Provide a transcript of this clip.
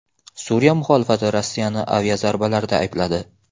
Suriya muxolifati Rossiyani aviazarbalarda aybladi.